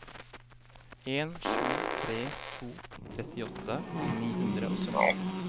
en sju tre to trettiåtte ni hundre og sytten